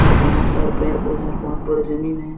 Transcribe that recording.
और बहोत सारे पेड़ पौधें और बहुत बड़े ज़मीन है।